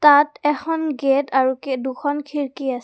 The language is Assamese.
ইয়াত এখন গেট আৰু কে দুখন খিৰকী আছে।